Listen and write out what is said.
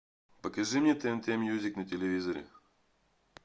покажи мне тнт мьюзик на телевизоре